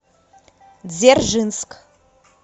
дзержинск